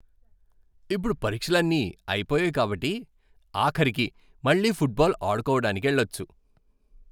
ఇప్పుడు పరీక్షలన్నీ అయిపోయాయి కాబట్టి, ఆఖరికి మళ్ళీ ఫుట్బాల్ ఆడుకోవడానికెళ్ళచ్చు.